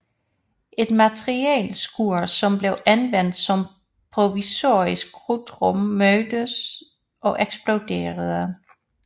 Et materialeskur som blev anvendt som provisorisk krudtrum mødtes og eksploderede